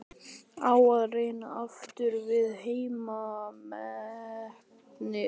Á að reyna aftur við heimsmetið?